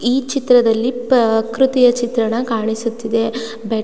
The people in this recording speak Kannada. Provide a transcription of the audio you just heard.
ಈ ಚಿತ್ರದಲ್ಲಿ ಪೃಕೃತಿಯ ಚಿತ್ರಣ ಕಾಣಿಸುತ್ತಿದೆ. ಬೆಟ್--